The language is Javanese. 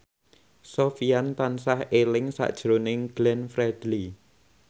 Sofyan tansah eling sakjroning Glenn Fredly